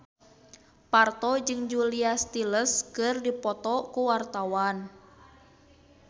Parto jeung Julia Stiles keur dipoto ku wartawan